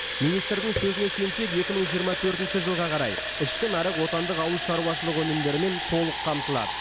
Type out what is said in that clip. министрдің сөзіне сүйенсек екі мың жиырма төртінші жылға қарай ішкі нарық отандық ауыл шаруашылығы өнімдерімен толық қамтылады